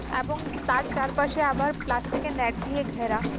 এবং তার চারপাশে আবার প্লাস্টিক -এর নেট দিয়ে ঘেরা।